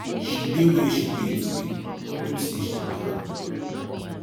she dey where she dey today unto say she be hard worker